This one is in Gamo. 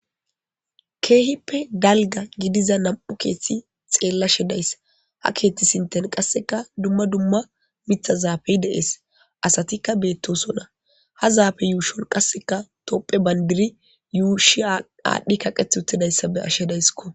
keehippe dalga gidiza nam'u keethti xeellashe dayssa ha keeththi sinten qasseka dumma dumma mitha zaafey deees asatikka beettosona ha zaafe yuushon qasseka topphe bandiri yuushi aadhdhi kaqeth uttidayssa be'ashe dayiskko